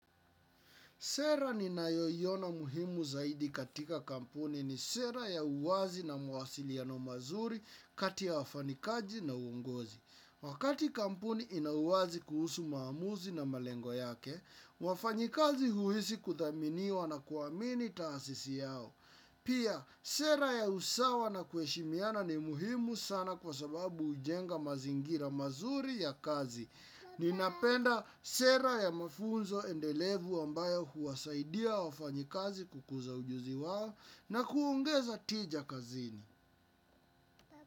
Sera ninayoiona muhimu zaidi katika kampuni ni sera ya uwazi na mawasiliano mazuri kati ya wafanyikazi na uongozi. Wakati kampuni ina uwazi kuhusu maamuzi na malengo yake, wafanyikazi huishi kuthaminiwa na kuamini taasisi yao. Pia, sera ya usawa na kuheshimiana ni muhimu sana kwa sababu hujenga mazingira mazuri ya kazi. Ninapenda sera ya mafunzo endelevu ambayo huwasaidia wafanyikazi kukuza ujuzi wao na kuongeza tija kazini.